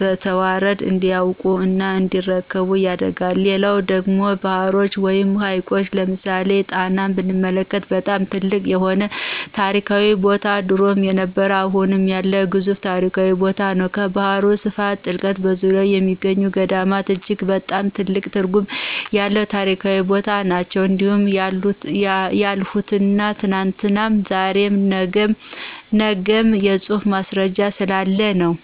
በተዋረድ እንዲያውቁ እና እንዲረከቡ ያደርጋል። ሌላው ደግሞ ባህሮች ወይም ሀይቆች ለምሳሌ ጣናን ብንመለክት በጣም ትልቅ የሆነ ታሪካዊ ቦታነው ድሮም የነበረ አሁም ያለ ግዙፍ ታሪካዊ ቦታነው። ከባህሩ ስፋት ጥልቀቱ በዙርያው የሚገኙ ገዳማት እጅግ በጣም ትልቅ ትርጉም ያለው የታሪክ ቦታ ነናቸው። እንዲህ ያልሁት ትናንትም ዛሬም ነግም የፁሁፍ ማስረጃ ስላለ ነው።